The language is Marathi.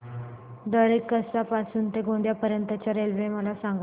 दरेकसा पासून ते गोंदिया पर्यंत च्या रेल्वे मला सांगा